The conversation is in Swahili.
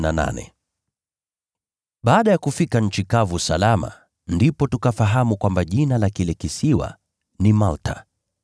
Baada ya kufika nchi kavu salama, ndipo tukafahamu kwamba jina la kile kisiwa ni Malta.